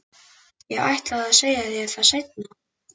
Ég ætlaði að segja þér það seinna.